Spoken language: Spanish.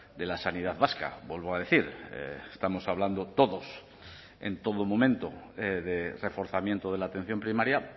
de la sanidad vasca vuelvo a decir estamos hablando todos en todo momento de reforzamiento de la atención primaria